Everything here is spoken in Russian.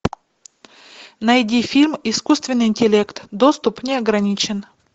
найди фильм искусственный интеллект доступ неограничен